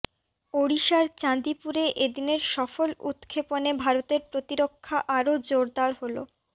ওডিশার চাঁদিপুরে এদিনের সফল উৎক্ষেপণে ভারতের প্রতিরক্ষা আরও জোরদার হল